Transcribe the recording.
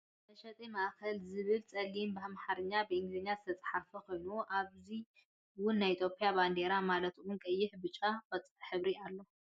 መሸጢ ማእከል ዝብልብፀሊም ብኣማርኛን ብኢንግልዝኛን ዝተፅሓፈ ኮይኑ ኣብዙ እውን ናይ ኢትዮጵያ ባንዴራ ማለት እውን ቀይሕን ብጫን ቆፃልን ሕብሪ ኣሎ ።